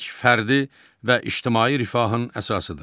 Əmək fərdi və ictimai rifahın əsasıdır.